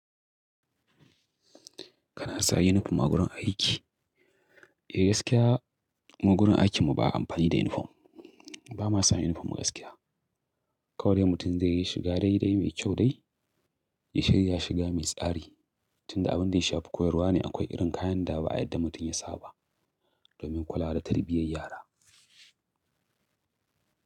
Kana saka yunifom a gurin aiki? Eh gaskiya, mu gurin aikin mu ba a amfani da yunifom. Ba ma samun yunifom gaskiya. Kawai mutum zai yi shiga dai dai mai kyau dai, ya shirya shiga mai tsari tunda abin da ya shafi koyarwa ne akwai irin kayan dawa a yadda mutum ya saba domin kula da tarbiyyar yara.